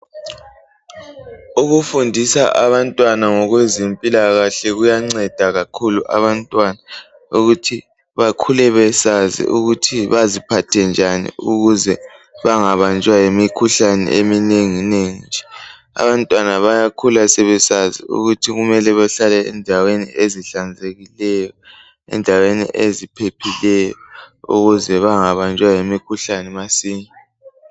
ukufundisa abantwana ngokwezempilakahle kuyanceda kakhulu abantwana ukuthi bakhule besazi ukuthi baziphathe njani ukuze bangabanjwa yimikhuhlane eminenginengi abantwana bayakhula sebesazi ukuthi kumele behlale endaweni ezihlanzekileyo endaweni eziphephileyo ukuze bangabanjwa yimikhuhlane masinya